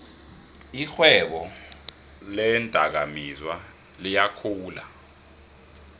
irhwebo leendakamizwa liyakhula